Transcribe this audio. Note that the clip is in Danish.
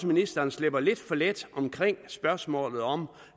ministeren slipper lidt for let omkring spørgsmålet om